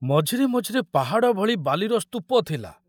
ମଝିରେ ମଝିରେ ପାହାଡ଼ ଭଳି ବାଲିର ସ୍ତୂପ ଥିଲା।